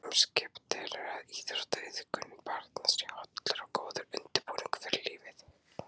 Eimskip telur að íþróttaiðkun barna sé hollur og góður undirbúningur fyrir lífið.